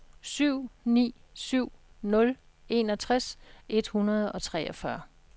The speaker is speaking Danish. syv ni syv nul enogtres et hundrede og treogfyrre